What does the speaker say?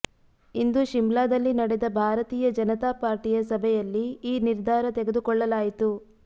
ಇಂದು ಶಿಮ್ಲಾದಲ್ಲಿ ನಡೆದ ಭಾರತೀಯ ಜನತಾ ಪಾರ್ಟಿಯ ಸಭೆಯಲ್ಲಿ ಈ ನಿರ್ಧಾರ ತೆಗೆದುಕೊಳ್ಳಲಾಯಿತು